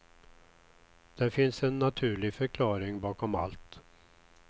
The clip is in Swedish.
Det finns en naturlig förklaring bakom allt.